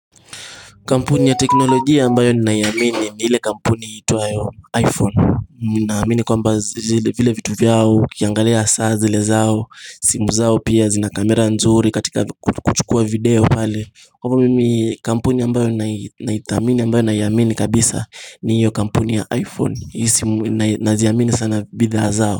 Kampuni ya teknolojia ambayo ni naiamini ni ile kampuni iitwayo iPhone na amini kwa mba zile vile vitu vyao, ukiangalia saa zile zao, simu zao pia zina kamera nzuri katika kuchukua video pale kwamba mimi kampuni ambayo naithamini ambayo naiamini kabisa ni hiyo kampuni ya iPhone ni simu na ziamini sana bidhaa zao.